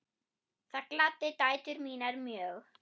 Það gladdi dætur mínar mjög.